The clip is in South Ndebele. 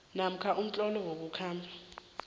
namkha umtlolo wokukhamba